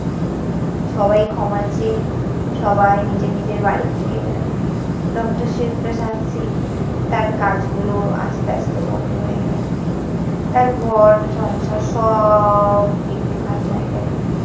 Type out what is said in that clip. সবাই ক্ষমা চেয়ে সবাই নিজে নিজের বাড়ির দিকে গেল। ডক্টর শিব প্রসাদ সিং তার কাজগুলো আস্তে আস্তে বন্ধ হয়ে গেলো। তার ঘর-সংসার সব একটুখানি হয়ে গেল।